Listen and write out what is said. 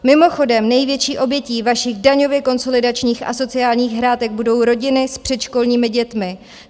Mimochodem největší obětí vašich daňově konsolidačních a sociálních hrátek budou rodiny s předškolními dětmi.